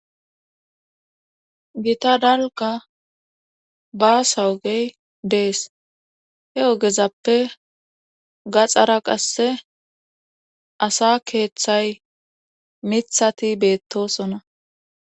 Gita dalga ba sawogey dees he ogezappe gaxxara qasse asa keeththay mithati beettosona.